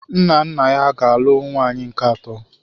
Nna nna ya ga-alụ nwunye nke atọ.